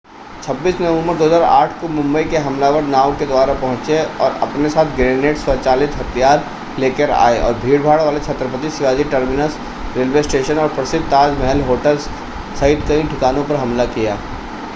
26 नवम्बर 2008 को मुंबई के हमलावर नाव के द्वारा पहुंचे और अपने साथ ग्रेनेड स्वचालित हथियार लेकर आए और भीड़भाड़ वाले Chhatrapati Shivaji terminus railway station और प्रसिद्ध ताज महल होटल सहित कई ठिकानों पर हमला किया